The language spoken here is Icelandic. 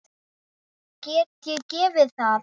Get ég gefið það?